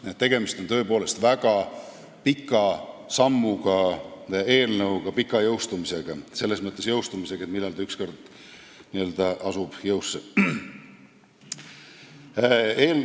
Nii et tegemist on tõepoolest väga pika sammuga, pika jõustumisega eelnõuga, selles mõttes, et millal ta ükskord n-ö päriselt jõusse astub.